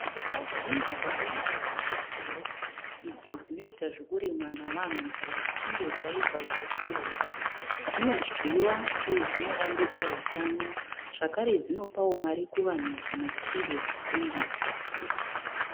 Bhinzi dzakaiswawo muchisero idzo dzinoiata zvokurimwa navanhu kana dzichinge dzaiva dzokohwehwa. Dzinodyiwa uye dzinovandudza hutano. Zvakere dzinapawo vanhu mari kana dzichinge dztengeswa.